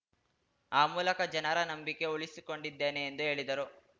ಆ ಮೂಲಕ ಜನರ ನಂಬಿಕೆ ಉಳಿಸಿಕೊಂಡಿದ್ದೇನೆ ಎಂದು ಹೇಳಿದರು